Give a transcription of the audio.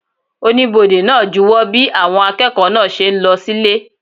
Oníbodè náà júwo bí àwọn akẹ́kọ̀ọ́ náà ṣe ń lọ sílé